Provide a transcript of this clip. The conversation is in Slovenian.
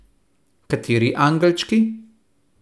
Kateri angelčki?